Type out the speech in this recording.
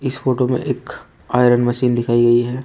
इस फोटो में एक आयरन मशीन दिखाई गई है।